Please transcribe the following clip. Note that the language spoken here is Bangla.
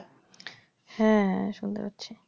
হ্যাঁ শুনতে পাচ্ছি